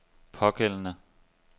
pågældende